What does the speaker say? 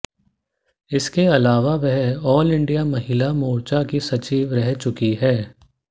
इसके अलावा वह आल इंडिया महिला मोर्चा की सचिव रह चुकी हैं